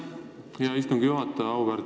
Aitäh, hea istungi juhataja!